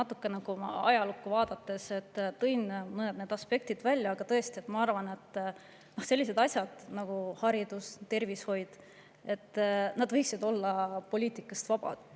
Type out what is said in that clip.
Ma natuke ajalukku vaadates tõin mõned aspektid välja, aga tõesti, ma arvan, et sellised asjad nagu haridus ja tervishoid võiksid olla poliitikast vabad.